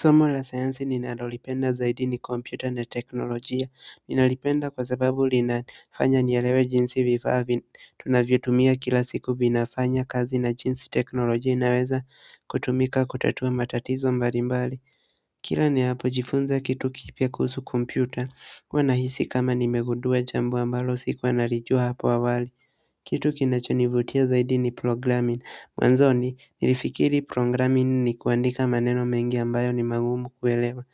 Somo la sayansi ninalolipenda zaidi ni kompyuta na teknolojia. Ninalipenda kwa sababu linafanya nielewe jinsi vifaa tunavyotumia kila siku vinafanya kazi na jinsi teknolojia inaweza kutumika kutatua matatizo mbali mbali kila ninapo jifunza kitu kipya kuhusu kompyuta, huwa nahisi kama nimegundua jambo ambalo sikuwa nalijua hapo awali kitu kinachonivutia zaidi ni programming. Mwanzoni, nilifikiri programming ni kuandika maneno mengi ambayo ni magumu kuelewa